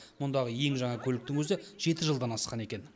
мұндағы ең жаңа көліктің өзі жеті жылдан асқан екен